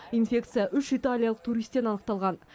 инфекция үш италиялық туристен анықталған